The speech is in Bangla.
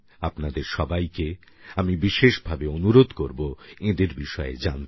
আপনাদের সবাইকে আমি বিশেষভাবে অনুরোধ করবো এঁদের বিষয়ে জানতে